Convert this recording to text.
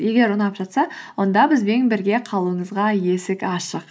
егер ұнап жатса онда бізбен бірге қалуыңызға есік ашық